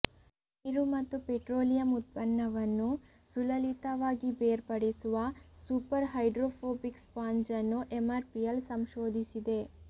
ನೀರು ಮತ್ತು ಪೆಟ್ರೋಲಿಯಂ ಉತ್ಪನ್ನವನ್ನು ಸುಲಲಿತವಾಗಿ ಬೇರ್ಪಡಿಸುವ ಸೂಪರ್ ಹೈಡ್ರೋಫೋಬಿಕ್ ಸ್ಪಾಂಜ್ ಅನ್ನು ಎಂಆರ್ಪಿಎಲ್ ಸಂಶೋಧಿಸಿದೆ